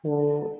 Ko